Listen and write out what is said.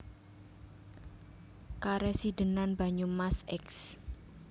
Karesidenan Banyumas Eks